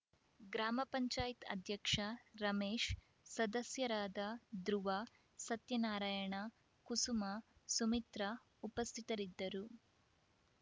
ಗ್ರಾಮ ಪಂಚಾಯತ್ ಅಧ್ಯಕ್ಷ ರಮೇಶ್‌ ಸದಸ್ಯರಾದ ಧ್ರುವ ಸತ್ಯನಾರಾಯಣ ಕುಸುಮ ಸುಮಿತ್ರ ಉಪಸ್ಥಿತರಿದ್ದರು